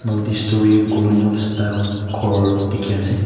multi storey colonial style kor tiki ase.